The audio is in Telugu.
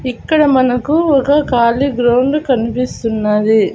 ఇక్కడ మనకు ఒక ఖాళీ గ్రౌండ్ కన్పిస్తున్నది.